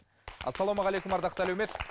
ассалаумағалейкум ардақты әлеумет